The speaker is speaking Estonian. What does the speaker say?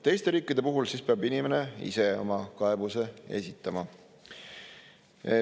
Teiste riikide puhul peab inimene ise oma kaebuse esitama.